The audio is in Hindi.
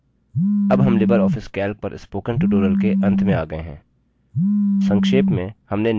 अब हम लिबर ऑफिस calc पर spoken tutorial के अंत में आ गये हैं